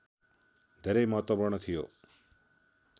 धेरै महत्त्वपूर्ण थियो